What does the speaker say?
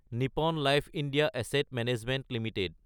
Nippon life India asset management Ltd